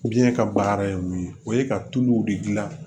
Biɲɛ ka baara ye mun ye o ye ka tuluw de dilan